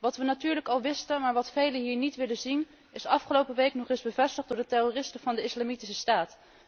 Wat we natuurlijk al wisten, maar wat velen hier niet willen zien, is afgelopen week nog eens bevestigd door de terroristen van de Islamitische Staat.